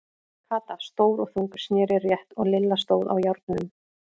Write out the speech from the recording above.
Kata, stór og þung, sneri rétt og Lilla stóð á járnunum.